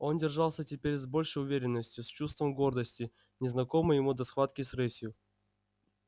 он держался теперь с большей уверенностью с чувством гордости незнакомой ему до схватки с рысью